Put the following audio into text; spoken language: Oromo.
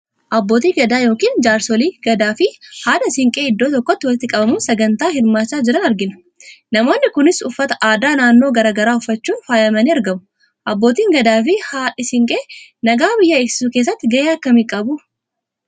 Abbootii gadaa yookiin Jaarsolii gadaafi haadha siinqee iddoo tokkotti walitti qabamuun sagantaa hirmaachaa jiran arginaa. Namoonni Kunis uffata aadaa naannoo garaagaraa uffachuun faayamanii argamu. Abbootiin gadaa fi haadhi Siinqee nagaa biyyaa eegsisuu keessatti gahee akkamii qabu ?